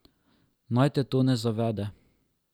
Naj te to ne zavede.